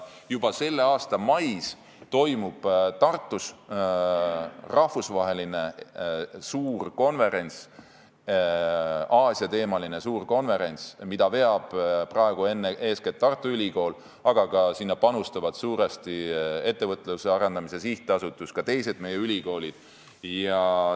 Juba selle aasta mais toimub Tartus rahvusvaheline suur Aasia-teemaline konverents, mida veab eeskätt Tartu Ülikool, aga sinna panustavad suuresti ka Ettevõtluse Arendamise Sihtasutus ja meie teised ülikoolid.